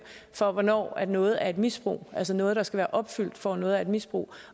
for hvornår noget er et misbrug altså noget der skal være opfyldt for at noget er et misbrug